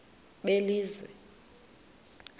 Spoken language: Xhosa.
belizwe